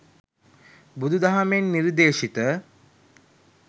බුදු දහමෙන් නිර්දේශිත